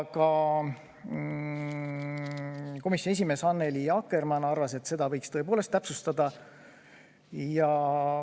Komisjoni esimees Annely Akkermann arvas, et seda võiks tõepoolest täpsustada.